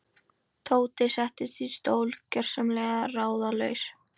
Tóti settist í stól, gjörsamlega ráðalaus.